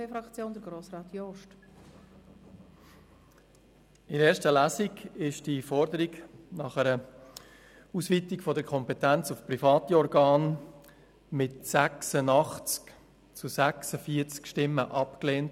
Während der ersten Lesung wurde die Forderung nach einer Ausweitung der Kompetenz auf private Organe mit 86 zu 46 Stimmen abgelehnt.